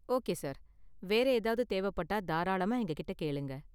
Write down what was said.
Okay sir. வேற ஏதாவது தேவைப்பட்டா தாராளமா எங்ககிட்ட கேளுங்க.